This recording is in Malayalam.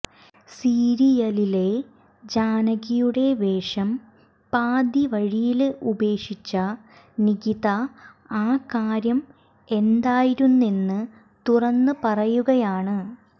സീരിയലിലെ ജാനകിയുടെ വേഷം പാതിവഴിയില് ഉപേഷിച്ച നിഖിത ആ കാര്യം എന്തായിരുന്നെന്ന് തുറന്ന് പറയുകയാണ്